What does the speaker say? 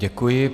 Děkuji.